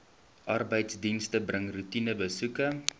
arbeidsdienste bring roetinebesoeke